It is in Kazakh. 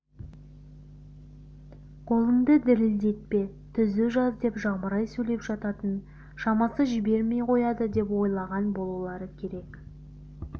қолыңды дірілдетпе түзу жаз деп жамырай сөйлеп жататын шамасы жібермей қояды деп ойлаған болулары керек